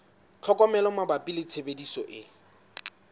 tlhokomelo mabapi le tshebediso e